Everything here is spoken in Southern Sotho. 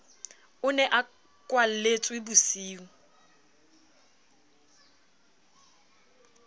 o ne a kwalletswe bosiung